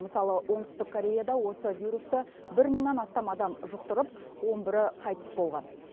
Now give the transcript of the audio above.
мысалы оңтүстік кореяда осы вирусты бір мыңнан астам адам жұқтырып он бірі қайтыс болған